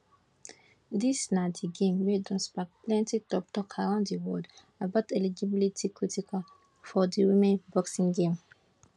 dis na di game wey don spark plenti toktok around di world about eligibility criteria for di women boxing game